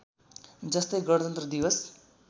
जस्तै गणतन्त्र दिवस